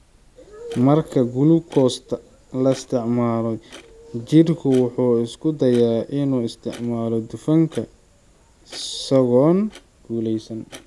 Marka gulukoosta la isticmaalo, jidhku wuxuu isku dayaa inuu isticmaalo dufanka isagoon guulaysan.